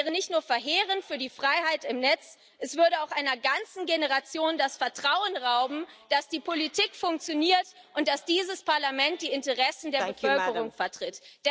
Das wäre nicht nur verheerend für die Freiheit im Netz, es würde auch einer ganzen Generation das Vertrauen rauben, dass die Politik funktioniert und dass dieses Parlament die Interessen der Bevölkerung vertritt.